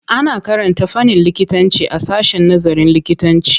Ana karanta fannin likitanci a sashen nazarin likitanci.